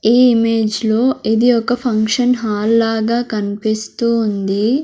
ఈ ఇమేజ్ లో ఇది ఒక ఫంక్షన్ హాల్ లాగా కనిపిస్తూ ఉంది.